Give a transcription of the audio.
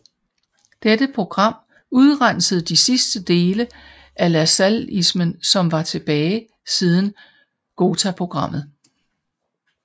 Dette program udrensede de sidste dele af lassalleismen som var tilbage siden Ghotaprogrammet